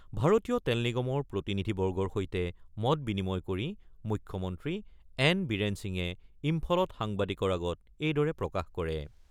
ভাৰতীয় তেল নিগমৰ প্ৰতিনিধিবৰ্গৰ সৈতে মত-বিনিময় কৰি মুখ্যমন্ত্ৰী এন বীৰেন সিঙে ইম্ফলত সাংবাদিকৰ আগত এইদৰে প্ৰকাশ কৰে।